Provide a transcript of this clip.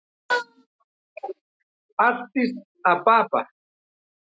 Addis Ababa